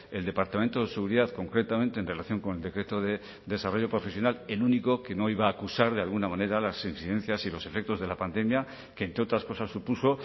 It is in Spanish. el departamento de seguridad concretamente en relación con el decreto de desarrollo profesional el único que no iba a acusar de alguna manera las incidencias y los efectos de la pandemia que entre otras cosas supuso